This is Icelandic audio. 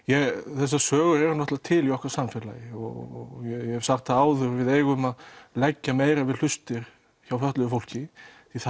þessar sögur eru náttúrulega til í okkar samfélagi og ég hef sagt það áður að við eigum að leggja meira við hlustir hjá fötluðu fólki því það